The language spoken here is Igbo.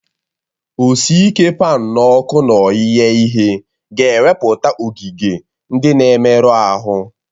Oke isi paan n'ọkụ n'oge ighe ihe ga-ewepụta ogige ndị na-emerụ ahụ